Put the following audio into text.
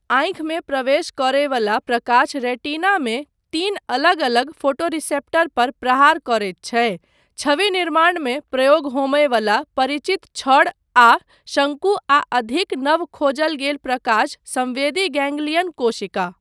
आँखिमे प्रवेश करय वला प्रकाश रेटिनामे तीन अलग अलग फोटोरिसेप्टर पर प्रहार करैत छै, छवि निर्माणमे प्रयोग होमय वला परिचित छड़ आ शंकु आ अधिक नव खोजल गेल प्रकाश संवेदी गैंग्लियन कोशिका।